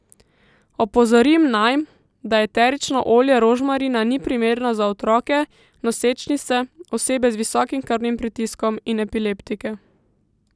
Opozorim naj, da eterično olje rožmarina ni primerno za otroke, nosečnice, osebe z visokim krvnim pritiskom in epileptike.